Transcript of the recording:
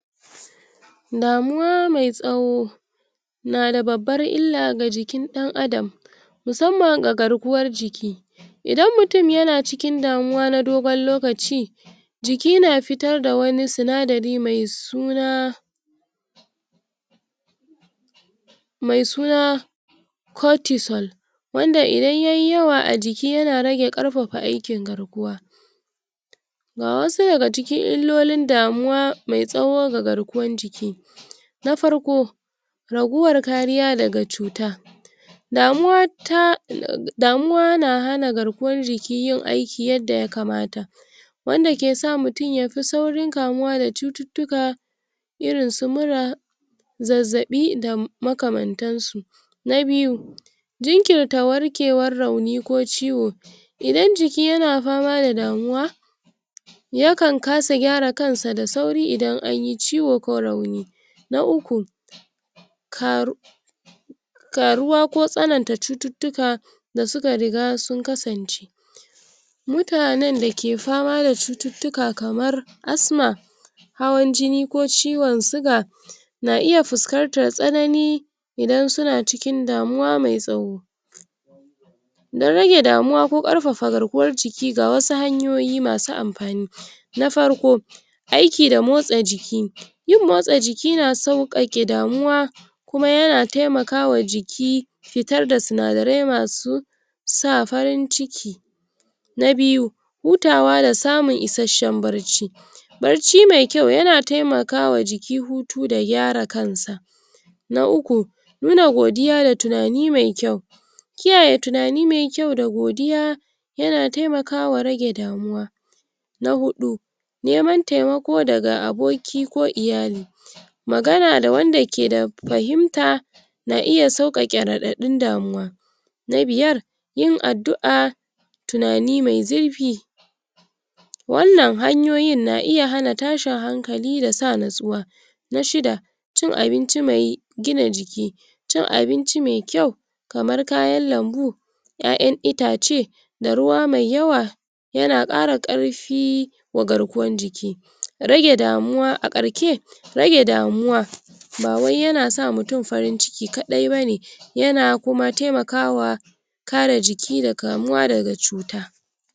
damuwa mai tsawo nada babbar illa ga jikin ɗan adam musamman ga garkuwar jiki idan mutum yana cikin damuwa na dogon lokaci jiki na fitar da wani sinadari mai suna mai suna cutisol wanda idan yayi yawa a jiki yana rage ƙarfafa aikin garkuwa ga wasu daga cikin illolin damu mai tsawo ga garkuwan jiki. Na farko raguwar kariya daga cuta damuwa ta damuwa na hana garkuwar jiki yin aiki yanda ya kamata wanda kesa mutum yafi saurin kamuwa da cututtuka irin su mura zazzaɓi da muakamantan su. Na biyu jinkirta warkewar rauni ko ciwo, idan jiki yana fama da damuwa yakan kasa gyara kansa da sauri idan anyi ciwo ko rauni. Na uku karu ƙaruwa ko tsananta cututtuka da suka riga sun kasance mutanen dake fama da cututtuka kamar asma hawan jini ko ciwon siga na iya fuskantar tsanini idan suna cikin damuwa mai tsawo dan rage damuwa ko ƙarfafa garkuwar jiki ga wasu hanyoyi masu amfani. Na farko aiki da motsa jiki. yin motsa jiki na sauƙaƙe damuwa kuma yana taimakama jiki fitar da sinadarai masu sa farin ciki na biyu hutawa da samun isashen barci. Barci mai kyau yana taimakawa jiki huta da gyara kansa na uku nuna godiya da tunani mai kyau kiyaye tunani mai kyau da godiya yana taimakawa rage da muwa. Na huɗu naiman taimako daga aboki ko iyali magana da wanda keda fahimta na iya sau sauƙaƙe raɗaɗin damuwa na biyar yin addu'a tunani mai zurfi wannan hanyoyin na iya hana tashin hankali da sa natsuwa. Na shida cin abinci mai gina jiki. cin abinci mai kyau kamar kayan lambu, ƴaƴan itace da ruwa mai yawa yana ƙara ƙarfi ga garkuwan jiki rage damuwa a ƙarke rage damuwa bawai yana sa mutum farin ciki kaɗai bane yana kuma taimakama kare jiki da kamuwa daga cuta.